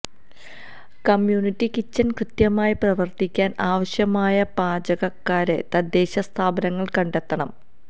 community kitchen കൃത്യമായി പ്രവർത്തിക്കാൻ ആവശ്യമായ പാചകക്കാരെ തദ്ദേശ സ്ഥാപനങ്ങൾ കണ്ടെത്തണം